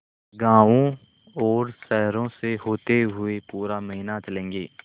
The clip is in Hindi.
गाँवों और शहरों से होते हुए पूरा महीना चलेंगे